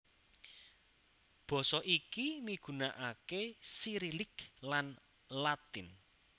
Basa iki migunakakéSirilik lan Latin